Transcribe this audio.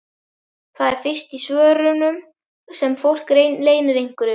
Það er fyrst í svörunum sem fólk leynir einhverju.